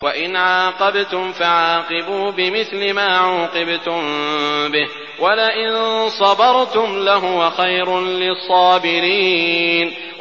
وَإِنْ عَاقَبْتُمْ فَعَاقِبُوا بِمِثْلِ مَا عُوقِبْتُم بِهِ ۖ وَلَئِن صَبَرْتُمْ لَهُوَ خَيْرٌ لِّلصَّابِرِينَ